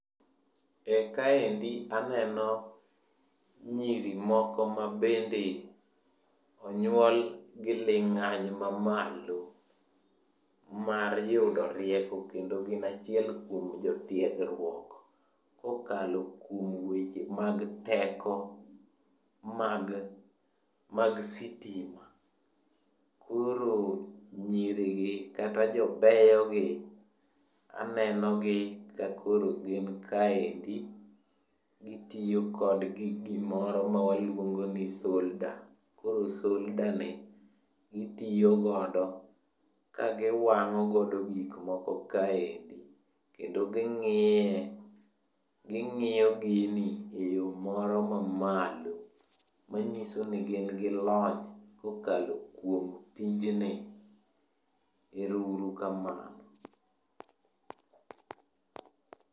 Ee kaendi aneno nyiri moko ma bende onyuol gi ling'any mamalo mar yudo rieko kendo gin achiel kuom jotiegruok kokalo kuom weche mag teko mag mag sitima. Koro nyirigi kata jobeyogi aneno gi ka koro gin kaendi gitiyo kod gimoro mawaluongo ni solda. Koro soldani gitiyo godo ka giwang'o godo gik moko kaendi. Kendo gi ng'iye, ging'iyo gini eyo moro mamalo manyiso ni gin gi lony kokalo kuom tijni. Erouru kamano.